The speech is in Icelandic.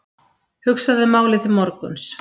Hugsaðu málið til morguns.